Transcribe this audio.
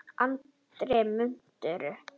Andri: Mútur?